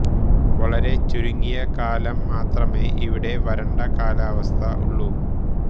വളരെ ചുരുങ്ങിയ കാലം മാത്രമേ ഇവിടെ വരണ്ട കാലാവസ്ഥ ഉള്ളൂ